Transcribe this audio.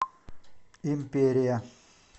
империя